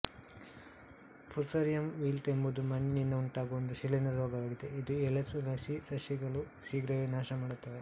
Fusarium wilt ಎಂಬುದು ಮಣ್ಣಿನಿಂದ ಉಂಟಾಗುವ ಒಂದು ಶಿಲೀಂಧ್ರ ರೋಗವಾಗಿದೆ ಇದು ಎಳೆ ತುಳಸಿ ಸಸಿಗಳನ್ನು ಶೀಘ್ರವೇ ನಾಶಮಾಡುತ್ತದೆ